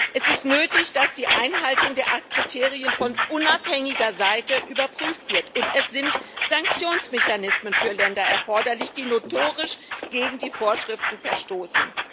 Es ist nötig, dass die Einhaltung der 8 Kriterien von unabhängiger Seite überprüft wird, und es sind Sanktionsmechanismen für Länder erforderlich, die notorisch gegen die Vorschriften verstoßen.